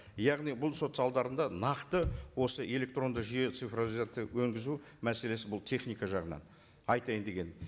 яғни бұл сот залдарында нақты осы электронды жүйе цифровизация мәселесі бұл техника жағынан айтайын дегенім